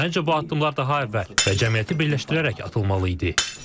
Məncə bu addımlar daha əvvəl və cəmiyyəti birləşdirərək atılmalı idi.